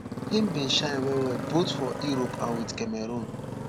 im bin shine wellwell both for europe and wit cameroon